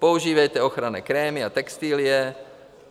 Používejte ochranné krémy a textilie.